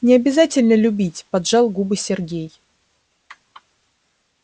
не обязательно любить поджал губы сергей